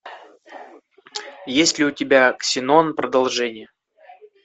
есть ли у тебя ксенон продолжение